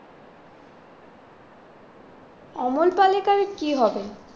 অমল পালেকার এর কি হবে?